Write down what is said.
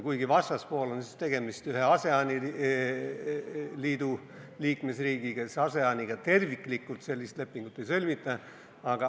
Kuigi vastaspoolel on tegemist ühe ASEAN-i liikmesriigiga, siis ASEAN-iga terviklikult sellist lepingut ei sõlmita.